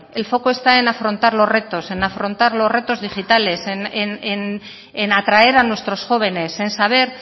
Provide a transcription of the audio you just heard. el foco está en afrontar los retos en afrontar los retos digitales en atraer a nuestros jóvenes en saber